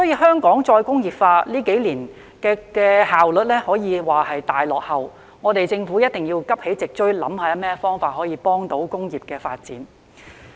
香港再工業化這幾年以來的效率可說是大落後，政府必須急起直追，想想有何方法幫助工業發展。